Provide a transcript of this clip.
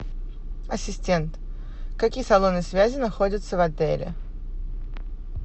ассистент какие салоны связи находятся в отеле